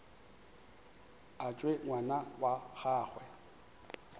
a tšwe ngwana wa gagwe